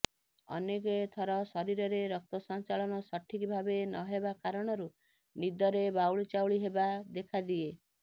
ଅନେକଥର ଶରୀରରେ ରକ୍ତସଞ୍ଚାଳନ ସଠିକ୍ ଭାବେ ନହେବା କାରଣରୁ ନିଦରେ ବାଉଳିଚାଉଳି ହେବା ଦେଖାଦିଏ